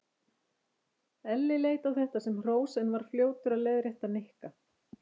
Elli leit á þetta sem hrós en var fljótur að leiðrétta Nikka.